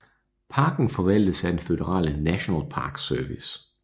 Parken forvaltes af den føderale National Park Service